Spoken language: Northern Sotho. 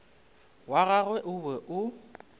wa gagwe o be o